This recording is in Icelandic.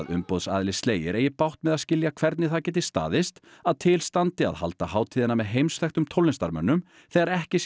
umboðsaðili Slayer eigi bágt með að skilja hvernig það geti staðist að til standi að halda hátíðina með heimsþekktum tónlistarmönnum þegar ekki